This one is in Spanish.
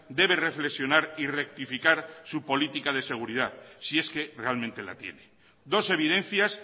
debe reflexionar y rectificar su política de seguridad si es que realmente la tiene dos evidencias